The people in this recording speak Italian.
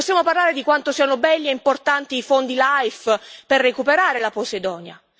Possiamo parlare di quanto siano belli e importanti i fondi LIFE per recuperare la Posidonia.